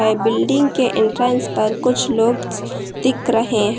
Building के entrance पर कुछ लोग दिक रहे हैं।